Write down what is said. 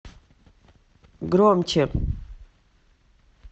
громче